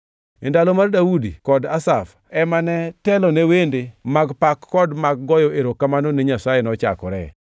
E ndalo mar Daudi kod Asaf ema ne telone wende mag pak kod mag goyo erokamano ni Nyasaye nochakore.